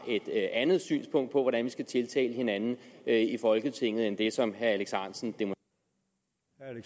et andet syn på hvordan vi skal tiltale hinanden i folketinget end det som herre alex ahrendtsen